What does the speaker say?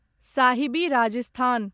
Sahibi Rajasthan